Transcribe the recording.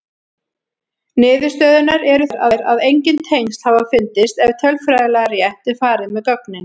Niðurstöðurnar eru þær að engin tengsl hafa fundist ef tölfræðilega rétt er farið með gögnin.